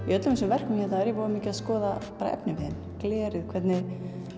í öllum þessum verkum hérna er ég voða mikið að skoða bara efniviðinn glerið hvernig